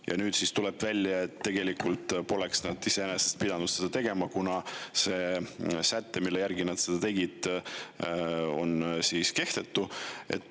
Ja nüüd siis tuleb välja, et tegelikult poleks nad iseenesest pidanud seda tegema, kuna see säte, mille alusel nad seda tegid, on kehtetu.